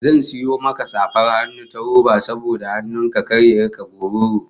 Zan sayo maka safar hannun ta roba saboda hannun ka kar ya rika bororo